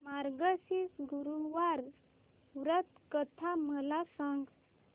मार्गशीर्ष गुरुवार व्रत कथा मला सांग